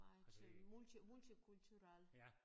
Meget øh multi multikulturelt